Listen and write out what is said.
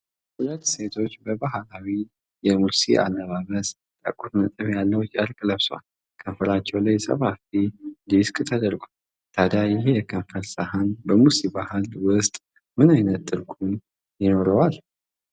ሁለት ሴቶች በባህላዊ የሙርሲ አለባበስ፣ ጠቁር ነጥብ ያለው ጨርቅ ለብሰዋል፤ ከንፈራቸው ላይ ሰፋፊ ዲስክ ተደርገዋል። ታዲያ ይህ የከንፈር ሳህን በሙርሲ ባሕል ውስጥ ምን ዓይነት ትርጉም ይኖረዋል?